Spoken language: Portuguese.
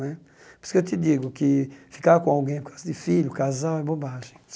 Né por isso que eu te digo que ficar com alguém por causa de filho, casal, é bobagem.